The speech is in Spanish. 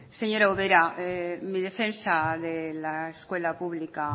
señor ubera en mi defensa de la escuela pública